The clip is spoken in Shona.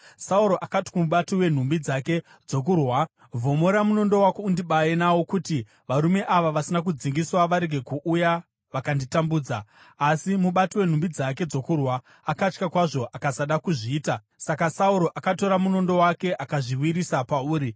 Sauro akati kumubati wenhumbi dzake dzokurwa, “Vhomora munondo wako undibaye nawo kuti varume ava vasina kudzingiswa varege kuuya vakanditambudza.” Asi mubati wenhumbi dzake dzokurwa akatya kwazvo akasada kuzviita; saka Sauro akatora munondo wake akazviwisira pauri.